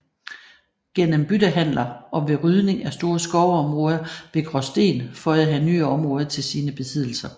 Gennem byttehandler og ved rydning af store skovområder ved Graasten føjede han nye områder til sine besiddelser